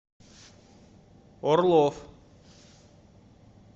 орлов